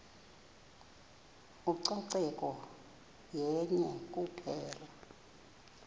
ucoceko yenye kuphela